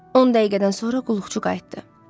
On dəqiqədən sonra qulluqçu qayıtdı.